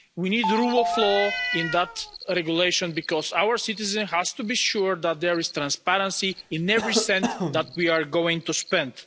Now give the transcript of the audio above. We need the rule of law in that regulation, because our citizens have to be sure that there is transparency in every cent that we are going to spend.